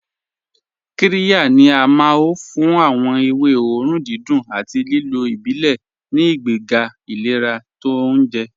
Qíryà ni à máọ̀ fún awọn èwé òórùn dídùn àti lílò ìbílẹ̀ ní ìgbègà ìlẹ̀rà tó ọ̀unjẹ.